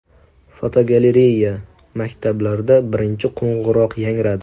Fotogalereya: Maktablarda birinchi qo‘ng‘iroq yangradi.